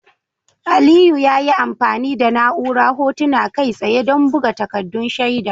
Aliyu ya yi amfani da na'urar Hotuna Kai tsaye don buga takaddun shaida.